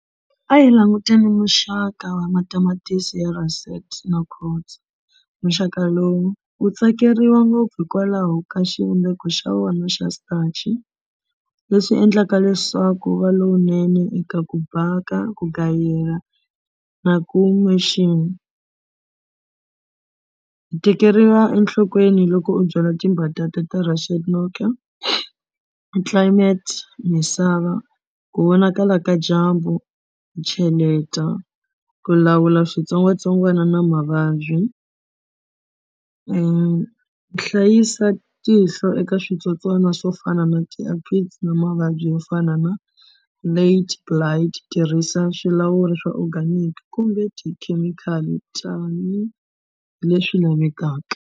A hi languteni muxaka wa matamatisi ya na muxaka lowu wu tsakeriwa ngopfu hikwalaho ka xivumbeko xa vona xa starch leswi endlaka leswaku wu va lowunene eka ku bhaka ku gayela na ku . U tekeriwa enhlokweni loko u byala timbatata ta climate misava ku vonakala ka dyambu ku cheleta ku lawula switsongwatsongwana na mavabyi ku hlayisa tihlo eka switsotswana swo fana na na mavabyi yo fana na tirhisa swilawula swa organic kumbe tikhemikhali tanihileswi lavekaka.